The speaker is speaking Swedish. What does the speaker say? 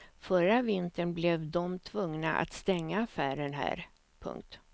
Förra vintern blev dom tvungna att stänga affären här. punkt